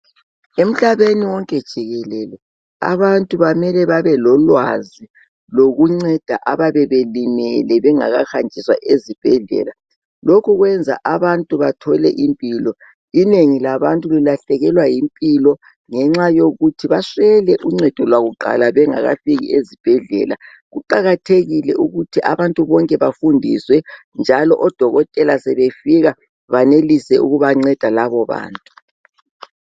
Emhlabeni wonke jikelele abantu bamele babe lolwazi lokunceda ababe belimele bengakahanjiswa ezibhedlela. Lokhu kwenza abantu bathole impilo, inengi labantu lilahlekelwa yimpilo ngenxa yokuthi baswele uncedo lwakuqala bengakafiki ezibhedlela. Kuqakathekile ukuthi abantu bonke bafundiswe njalo odokotela sebefika banelise ukubanceda labo bantu.